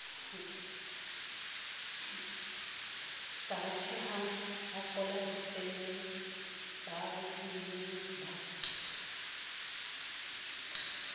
sa rutehangbafola difemeng ba rutehilengba